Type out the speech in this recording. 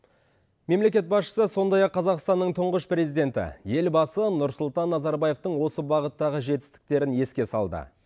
мемлекет басшысы сондай ақ қазақстанның тұңғыш президенті елбасы нұрсұлтан назарбаевтың осы бағыттағы жетістіктерін еске салды